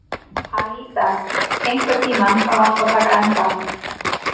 Alída, einhvern tímann þarf allt að taka enda.